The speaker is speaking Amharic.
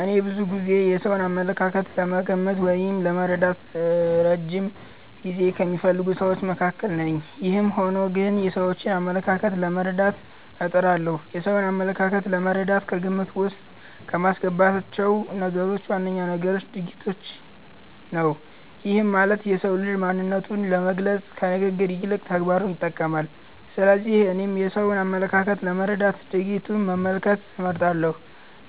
እኔ ብዙ ጊዜ የሰውን አመለካከት ለመገመት ወይም ለመረዳት እረጅም ጊዜ ከሚፈልጉ ስዎች መካከል ነኝ። ይህም ሆኖ ግን የሰዎችን አመለካከት ለመረዳት እጥራለሁ። የሰውን አመለካከት ለመረዳት ከግምት ዉስጥ ከማስገባቸው ነገሮች ዋነኛው ነገር ድርጊቶችን ነው። ይህም ማለት የሰው ልጅ ማንነቱን ለመግለፅ ከንግግሩ ይልቅ ተግባሩን ይጠቀማል። ስለዚህ እኔም የሰውን አመለካከት ለመረዳት ድርጊቱን መመልከት እመርጣለሁ።